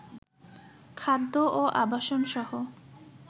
খাদ্য ও আবাসনসহ